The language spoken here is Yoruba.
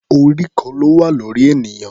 Orí kan ló wà lórí ènìyàn.